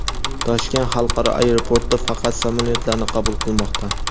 Toshkent xalqaro aeroporti faqat samolyotlarni qabul qilmoqda.